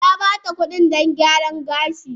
Na ba ta kuɗi don gyaran gashi